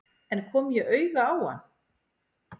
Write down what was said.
En kom ég auga á hann?